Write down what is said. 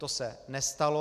To se nestalo.